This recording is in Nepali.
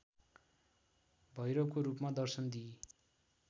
भैरवको रूपमा दर्शन दिई